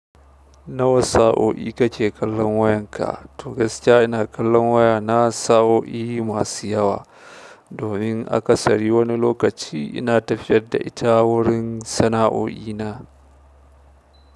Nawa sa'o'i kake kallon wayanka? To gaskiya ina kallon waya na sa'o'i masu yawa, domin aka sari wani lokaci ina tafiyar da ita wurin sana'o'i na.